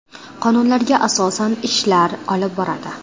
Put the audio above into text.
Qonunlarga asosan ishlar olib boradi.